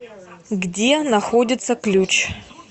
где находится ключ